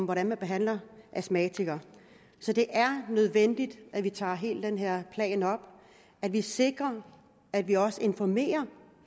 hvordan man behandler astmatikere så det er nødvendigt at vi tager hele den her plan op at vi sikrer at vi også informerer